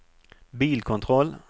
bilkontroll